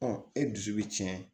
e dusu bɛ tiɲɛ